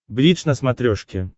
бридж на смотрешке